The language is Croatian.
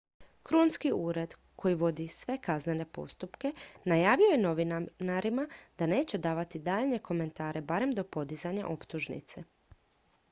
krunski ured koji vodi sve kaznene postupke najavio je novinarima da neće davati daljnje komentare barem do podizanja optužnice